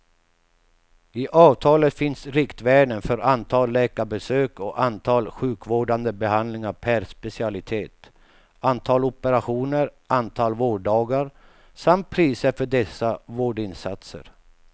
I avtalet finns riktvärden för antal läkarbesök och antal sjukkvårdande behandlingar per specialitet, antal operationer, antal vårddagar samt priser för dessa vårdinsatser.